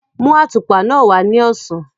Mú àtùpà náà wá ní ọ̀sán.